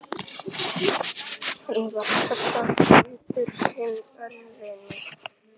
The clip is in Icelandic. Hann var kallaður Brandur hinn örvi.